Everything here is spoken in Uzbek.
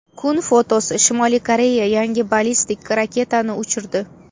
Kun fotosi: Shimoliy Koreya yangi ballistik raketani uchirdi.